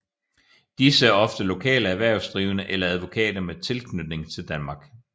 Disse er ofte lokale erhvervsdrivende eller advokater med tilknytning til Danmark